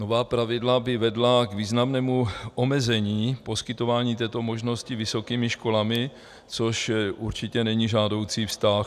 Nová pravidla by vedla k významnému omezení poskytování této možnosti vysokými školami, což určitě není žádoucí vztah.